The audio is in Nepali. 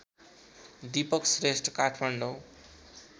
दीपक श्रेष्ठ काठमाडौँ